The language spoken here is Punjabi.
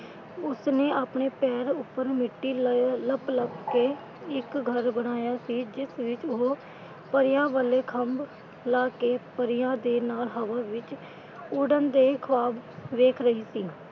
ਉਸਨੇ ਆਪਣੇ ਪੈਰ ਉੱਪਰ ਮਿੱਟੀ ਲੱਪ ਲੱਪ ਕੇ ਇੱਕ ਘਰ ਬਣਾਇਆ ਸੀ। ਜਿਸ ਵਿੱਚ ਉਹ ਪਰੀਆਂ ਵਾਲੇ ਖ਼ੰਭ ਲਾ ਕੇ ਪਰੀਆਂ ਦੇ ਨਾਲ ਹਵਾ ਵਿਚ ਉੱਡਣ ਦੇ ਖ਼ੁਆਬ ਦੇਖ ਰਹੀ ਸੀ।